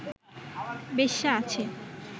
বেশ্যা আছে